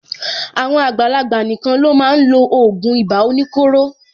Àwọn àgbàlagbà nìkan ló máa n lo ògùn ibà oníkóro.